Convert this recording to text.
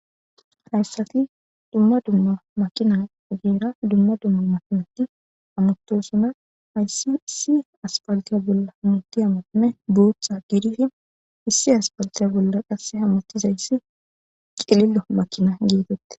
Haysati duma duma makina ogera duma duma makinati hamutosona haysa issi aspalte bolla hamutiya makinay biththa gididi issi aspalte bola hamutizaysi cililo makina